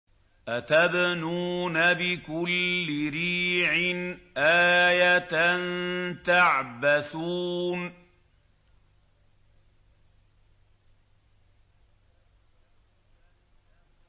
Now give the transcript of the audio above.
أَتَبْنُونَ بِكُلِّ رِيعٍ آيَةً تَعْبَثُونَ